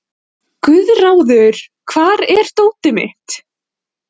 Guðráður, hvar er dótið mitt?